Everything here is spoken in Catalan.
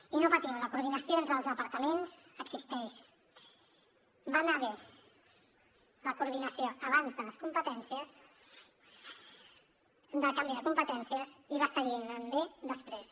i no patiu la coordinació entre els departaments existeix va anar bé la coordinació abans del canvi de competències i va seguir anant bé després